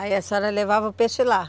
Aí a senhora levava o peixe lá?